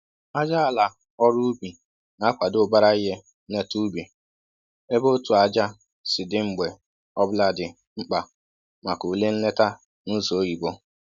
Ájá àlà ọrụ ubi na akwado ubara ihe nleta ubi, ébé otú ájá si dị mgbe ọbụla dị mkpa maka ule nleta n'ụzọ oyibo